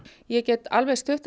ég get alveg stutt